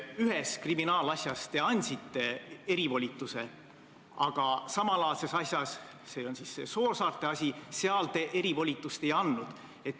Ühes kriminaalasjas te andsite erivolituse, aga samalaadses asjas, see on see Soosaarte asi, te erivolitust ei andnud.